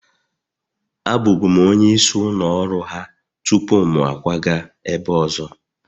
Abụbu'm onye isi ụlọ ọrụ ha tupu m akwaga ebe ọzọ